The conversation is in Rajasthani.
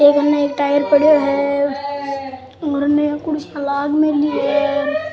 पड़ियो है और इनने कुर्सियां लाग मेली है।